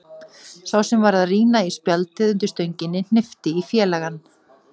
Sá sem var að rýna í spjaldið undir stönginni hnippti í félagann.